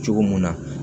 Cogo mun na